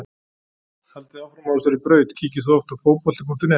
Haldið áfram á þessari braut Kíkir þú oft á Fótbolti.net?